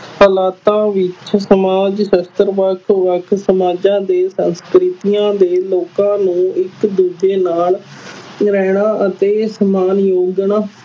ਹਾਲਾਤਾਂ ਵਿੱਚ ਸਮਾਜ ਸ਼ਾਸਤਰ ਵੱਖ ਵੱਖ ਸਮਾਜਾਂ ਦੇ ਸੰਸਕ੍ਰਿਤੀਆਂ ਦੇ ਲੋਕਾਂ ਨੂੰ ਇੱਕ ਦੂਜੇ ਨਾਲ ਰਹਿਣਾ ਅਤੇ